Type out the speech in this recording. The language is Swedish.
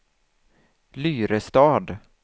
Lyrestad